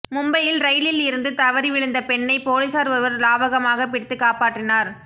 மும்பையில் ரயிலில் இருந்து தவறி விழுந்த பெண்ணை போலீசார் ஒருவர் லாவகமாக பிடித்து காப்பாற்றினார்